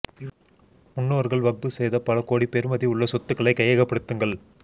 முன்னோர்கள் வக்ஃப் செய்த பல கோடி பெறுமதி உள்ள சொத்துக்களை கையக படுத்துங்கள்